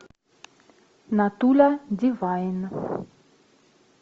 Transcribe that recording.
натуля дивайн